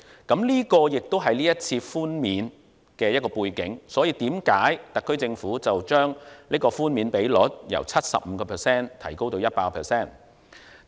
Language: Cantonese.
這個亦是這次寬免的背景，所以特區政府將寬免比率由 75% 提高至 100%。